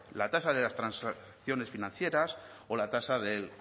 la tasa de las transacciones financieras o la tasa